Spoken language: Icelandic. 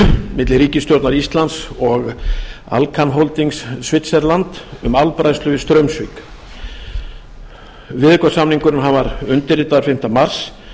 milli ríkisstjórnar íslands og alcan holding switzerland um álbræðslu við straumsvík viðaukasamningurinn var undirritaður fimmta mars